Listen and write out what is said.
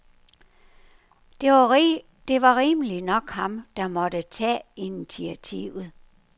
Det var rimeligt nok ham, der måtte tage initiativet.